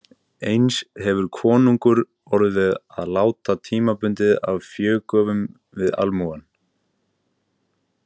Eins hefur konungur orðið að láta tímabundið af fégjöfum við almúgann.